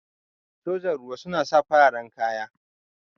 Sojan ruwa sun saka fararen kaya.